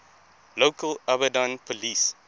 local abadan police